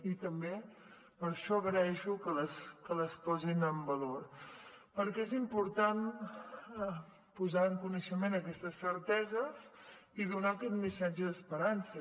i també per això agraeixo que les posin en valor perquè és important posar en coneixement aquestes certeses i donar aquest missatge d’esperança